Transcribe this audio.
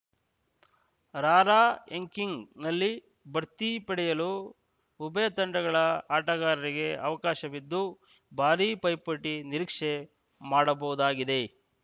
ರಾರ‍ಯಂಕಿಂಗ್‌ನಲ್ಲಿ ಭರ್ತಿ ಪಡೆಯಲು ಉಭಯ ತಂಡಗಳ ಆಟಗಾರರಿಗೆ ಅವಕಾಶವಿದ್ದು ಭಾರೀ ಪೈಪೋಟಿ ನಿರೀಕ್ಷೆ ಮಾಡಬಹುದಾಗಿದೆ